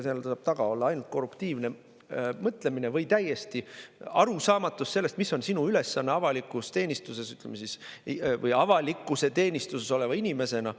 Seal taga saab olla ainult korruptiivne mõtlemine või täielik sellest, mis on sinu ülesanne avalikus teenistuses või avalikkuse teenistuses oleva inimesena.